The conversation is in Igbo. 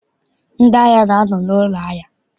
Ndị ahịa na-anọ n'ụlọ ahịa.